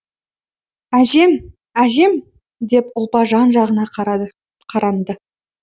әжем әжем деп ұлпа жан жағына қаранды